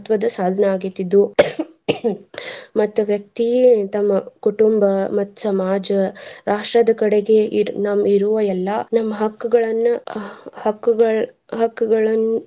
ಮಹತ್ವದ ಸಾಧನ ಆಗೇತಿ ಇದು ಮತ್ತ್ ವ್ಯಕ್ತಿ ತಮ್ಮ ಕುಟುಂಬ ಮತ್ತ್ ಸಮಾಜ ರಾಷ್ಟ್ರದ ಕಡೆಗೆ ಇದ್ ನಮ್ ಇರುವ ಎಲ್ಲಾ ನಮ್ಮ ಹಕ್ಕುಗಳನ್ನ ಹ~ಹಕ್ಕುಗಳ್ ಹಕ್ಕುಗಳನ್.